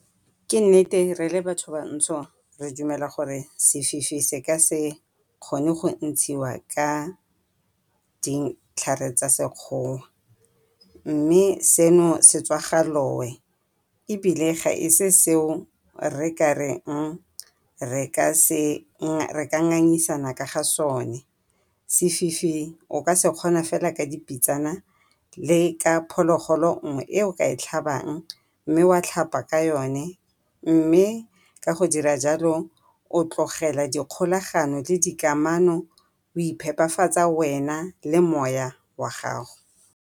Ke nnete re le batho bantsho re dumela gore sefifi se ka se kgone go ntshiwa ka ditlhare tsa Sekgowa, mme seno se tswa ga loe ebile ga e se seo re ka ngangisanang ka ga sone. Sefifi o ka sekgona fela ka dipitsana le ka phologolo nngwe e o ka e tlhabang, mme wa tlhapa ka yone mme ka go dira jalo o tlogela dikgolagano le dikamano o iphepafatsa wena le moya wa gago.